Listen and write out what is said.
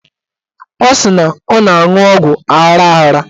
Ọ sị na ọ na-aṅụ ọgwụ aghara aghara